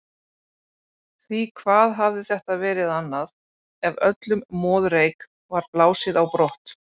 Því hvað hafði þetta verið annað, ef öllum moðreyk var blásið á brott?